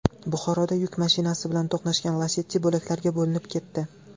Buxoroda yuk mashinasi bilan to‘qnashgan Lacetti bo‘laklarga bo‘linib ketdi.